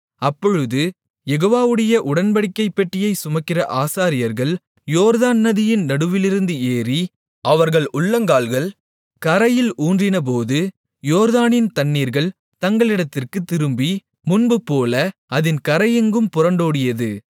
அப்பொழுது யெகோவாவுடைய உடன்படிக்கைப் பெட்டியைச் சுமக்கிற ஆசாரியர்கள் யோர்தான் நதியின் நடுவிலிருந்து ஏறி அவர்கள் உள்ளங்கால்கள் கரையில் ஊன்றினபோது யோர்தானின் தண்ணீர்கள் தங்களிடத்திற்குத் திரும்பி முன்புபோல அதின் கரையெங்கும் புரண்டோடியது